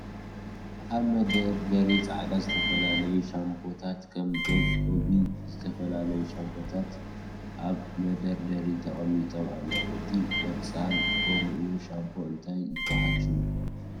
ኣብ መደርደሪ ፃዕዳ ዝተፈላለዩ ሻምፖታት ከም ዶቭ፣ ሆቢ፣ ዝተፈላለዩ ሻምፖታትን ኣብ መደርደሪ ተቀሚጦም ኣለዉ እቲ ቆፃል ጎምኡ ሻምፖ እንታይ ይበሃል ሽሙ?